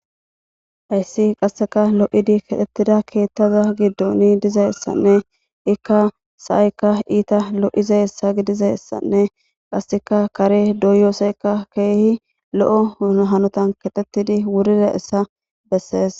Hayssi qaseka lo'idi keexetida keeththa giddon dizayssanne ikka sa'aykka iita lo'izayssa gidizayssanne qasseka kare doyiyosaykka keehi lo'o hanotan keexetidi wuridayssa bessees.